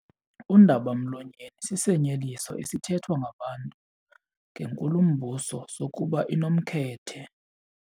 Undaba-mlonyeni sisinyeliso esithethwa ngabantu ngenkulumbuso sokuba inomkhethe.